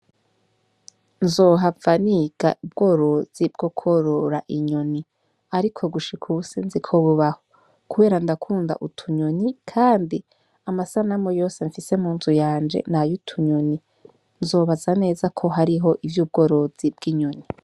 Nzohava niga ubworozi bw' ukworora inyoni ariko ubu sinzi ko bubaho kubera ndakunda utunyoni kandi amasanamu yose mfise mu nzu yanje nayo utunyoni nzobaza neza ko hariho ivy 'ubworozi bw'inyoni.